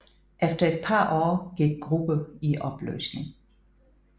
Efter et par år gik gruppe i opløsning